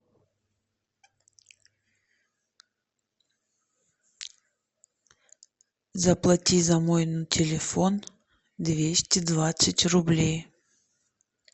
заплати за мой телефон двести двадцать рублей